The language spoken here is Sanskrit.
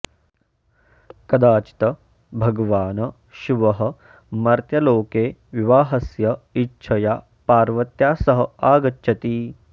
कदाचित् भगवान् शिवः मर्त्यलोके विवाहस्य इच्छया पार्वत्या सह आगच्छति